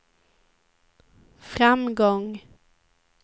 framgång